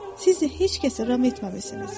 Sizi heç kəs ram etməmisiniz.